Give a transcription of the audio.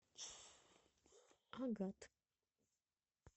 агат